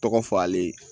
Tɔgɔ fɔ ale